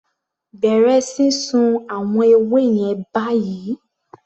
Bẹ̀rẹ̀ sísun àwọn ewé yẹn báyìí!